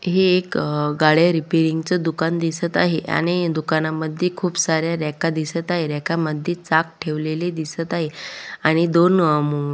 हे एक गाड्या रिपेरिंग च दुकान दिसत आहे आणि या दुकाना मध्ये खुप सारे रॅका दिसत आहेत रॅका मध्ये चाक ठेवलेले दिसत आहे आणि दोन अ --